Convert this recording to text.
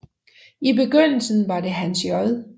I begyndelsen var det Hans J